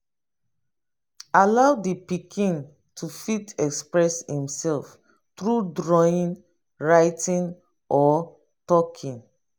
allow di pikin to fit express im self through drawing writing or talking